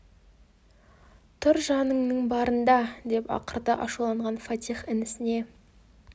тұр жаныңның барында деп ақырды ашуланған фатих інісіне